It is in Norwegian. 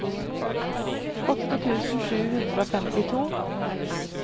åtte tusen sju hundre og femtito